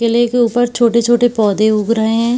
केले के उपर छोटे-छोटे पौधे उग रहे हैं।